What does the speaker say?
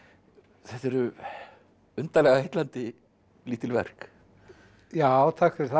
þetta eru undarlega heillandi lítil verk já takk fyrir það